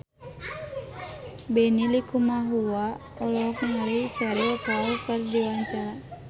Benny Likumahua olohok ningali Cheryl Crow keur diwawancara